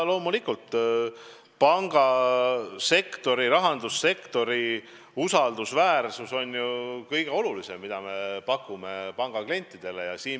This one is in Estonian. Loomulikult, pangasektori, rahandussektori usaldusväärus on kõige olulisem, mida me pangaklientidele pakume.